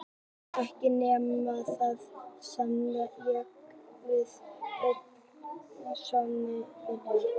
Ekki nema það, stamaði ég, að við verðum öll að sofa í sama herbergi.